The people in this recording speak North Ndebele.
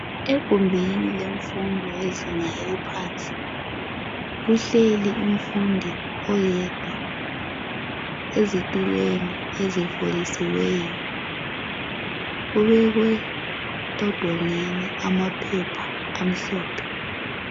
Egumbini lemfundo eyezinga eliphansi kuhleli umfundi oyedwa ezitulweni ezifolisiweyo. Kubekwe amaphepha amhlophe.